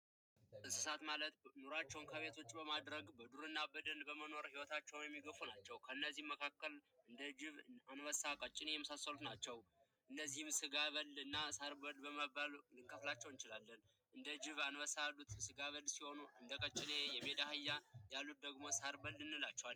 እንስሳት ማለት ኑሯቸውን ከቤቶች በማድረግ በዱርና ከሚኖሩ ኑሮ የሚገቡ ናቸው ከነዚህም መካከል እንደ ጅብ አንበሳና ቀጭን የመሳሰሉት ናቸው እነዚህ ስጋ በልና ሳርበል በመባል ልንከፋፈላቸው እችላለን እንደ ጅብ እና አንበሳ ያሉት ስጋብል ሲሆኑ እንደ ቀጨኔና የሜዳ አህያ ደግሞ ሳርበል እንላቸዋለን።